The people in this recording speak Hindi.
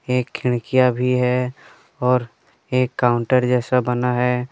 एक खिड़कियां भी है और एक काउंटर जैसा बना है।